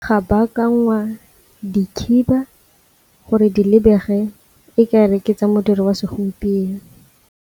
Ga bakangwa dikhiba gore di lebege e kare ke tsa modiro wa segompieno.